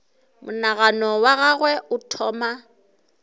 monagano wa gagwe o thoma